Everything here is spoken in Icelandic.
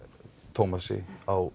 Thomasi á